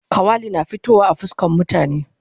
Kawali na fitowa a fuskan mutane